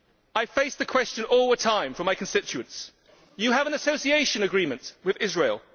I face the question all the time from my constituents You have an Association Agreement with Israel.